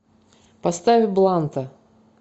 поставь бланта